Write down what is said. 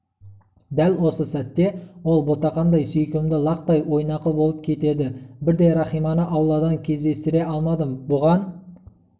дәл осы сәтте ол ботақандай сүйкімді лақтай ойнақы болып кетеді бірде рахиманы ауладан кездестіре алмадым бұған